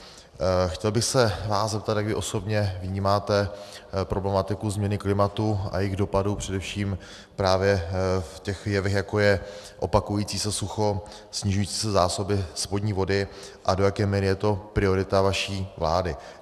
Chtěl bych se vás zeptat, jak vy osobně vnímáte problematiku změny klimatu a jejích dopadů především právě v těch jevech, jako je opakující se sucho, snižující se zásoby spodní vody, a do jaké míry je to priorita vaší vlády.